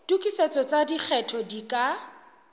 tokisetso tsa lekgetho di ka